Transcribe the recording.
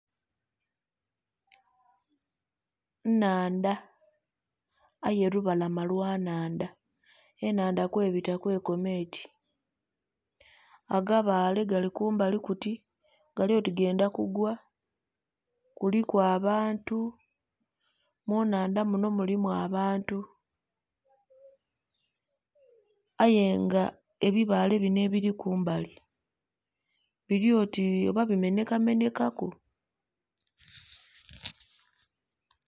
Nnandha aye lubalama lwa nhandha, enhanha kwebita kwe koma eti. Agabaale gali kumbali kuti gali oti gendha kugwa. Kuliku abantu, mu nnhandha munho mulimu abantu. Aye nga ebibaale binho ebili kumbali bili oti oba bimenhekamenheka ku!